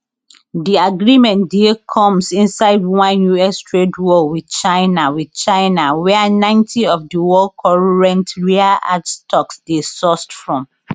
di agreement dey comes inside one us trade war with china with china wia ninty of di world current rare earth stocks dey sourced from